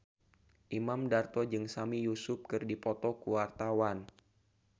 Imam Darto jeung Sami Yusuf keur dipoto ku wartawan